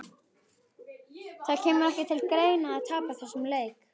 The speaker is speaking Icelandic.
Það kemur ekki til greina að tapa þessum leik!